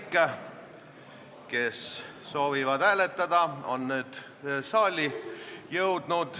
Erkki Keldo, mu pinginaaber, nimetas hulga seisukohti, mida Oudekki Loone on esitanud ja mille kohta teie, hea ettekandja, ütlesite, et inimese vaated võivad muutuda.